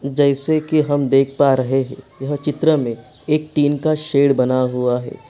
जैसे की हम देख पा रहे है यह चित्र मै एक टीन का शैड बना हुआ है।